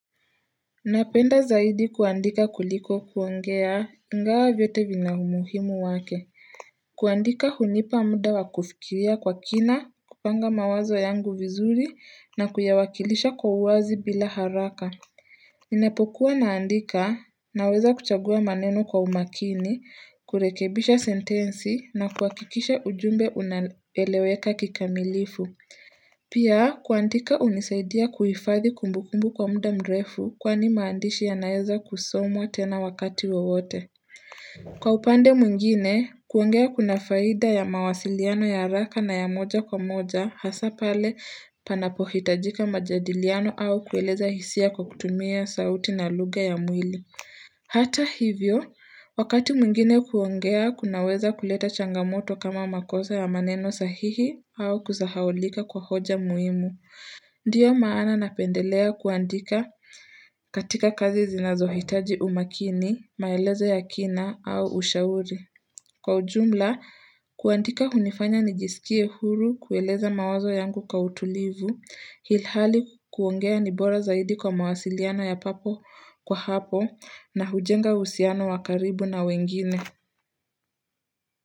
Napenda zaidi kuandika kuliko kuongea ingawa vyote vina umuhimu wake. Kuandika hunipa muda wa kufikiria kwa kina, kupanga mawazo yangu vizuri na kuyawakilisha kwa uwazi bila haraka. Inapokuwa naandika naweza kuchagua maneno kwa umakini, kurekebisha sentensi na kuhakikisha ujumbe unaeleweka kikamilifu. Pia kuandika hunisaidia kuhifadhi kumbukumbu kwa muda mrefu kwani maandishi yanaweza kusomwa tena wakati wowote Kwa upande mwingine, kuongea kuna faida ya mawasiliano ya haraka na ya moja kwa moja hasa pale panapohitajika majadiliano au kueleza hisia kwa kutumia sauti na lugha ya mwili Hata hivyo, wakati mwingine kuongea kunaweza kuleta changamoto kama makosa ya maneno sahihi au kusahaulika kwa hoja muhimu. Ndiyo maana napendelea kuandika katika kazi zinazohitaji umakini, maelezo ya kina au ushauri. Kwa ujumla, kuandika hunifanya nijisikie huru kueleza mawazo yangu kwa utulivu, ilhali kuongea ni bora zaidi kwa mawasiliano ya papo kwa hapo na hujenga uhusiano wa karibu na wengine.